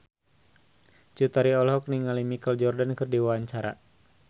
Cut Tari olohok ningali Michael Jordan keur diwawancara